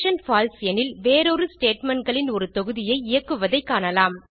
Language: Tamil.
பால்சே எனில் வேறொரு statementகளின் ஒரு தொகுதியை இயக்குவதைக் காணலாம்